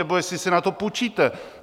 Nebo jestli si na to půjčíte.